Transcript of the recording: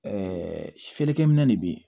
feerekɛminɛ de bɛ yen